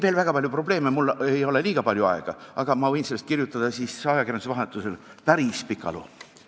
Mul ei ole siin enam palju aega, aga ma võin sellest kõigest kirjutada ajakirjanduses päris pika loo.